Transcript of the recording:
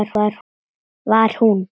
Var hún?!